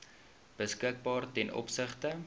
beskikbaar ten opsigte